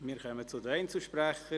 Wir kommen zu den Einzelsprechern: